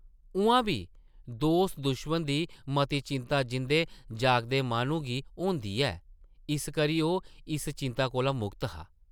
उʼआं बी दोस्त-दुश्मन दी मती चिंता जींदे-जागदे माह्नू गी होंदी ऐ, इस करी ओह् इस चिंता कोला मुक्त हा ।